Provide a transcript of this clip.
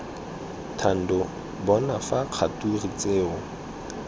thando bona fa kgature tseo